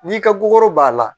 N'i ka bugokɔro b'a la